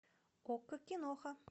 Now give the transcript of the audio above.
окко киноха